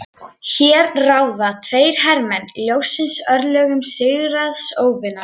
Hér ráða tveir hermenn ljóssins örlögum sigraðs óvinar.